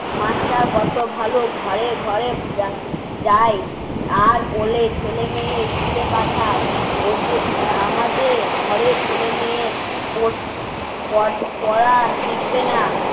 master কত ভালো ঘরে ঘরে যা যাই আর বলে ছেলে মেয়ে স্কুলে পাঠাও আমাদের ঘরের ছেলে মেয়ে পড়তে পড়া শিখবে না